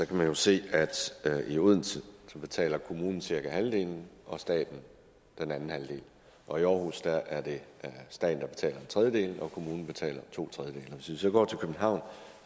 kan man jo se at i odense betaler kommunen cirka halvdelen og staten den anden halvdel og i aarhus er det staten der betaler en tredjedel og kommunen betaler to tredjedele så går til københavn